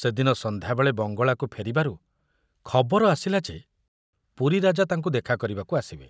ସେଦିନ ସନ୍ଧ୍ୟାବେଳେ ବଙ୍ଗଳାକୁ ଫେରିବାରୁ ଖବର ଆସିଲା ଯେ ପୁରୀରାଜା ତାଙ୍କୁ ଦେଖା କରିବାକୁ ଆସିବେ,